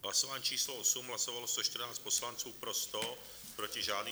Hlasování číslo 8, hlasovalo 114 poslanců, pro 100, proti žádný.